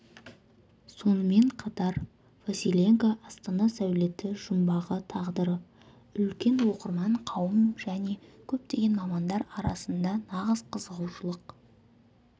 сонымен қатар василенко астана сәулеті жұмбағы тағдыры үлкен оқырман қауым және көптеген мамандар арасында нағыз қызығушылық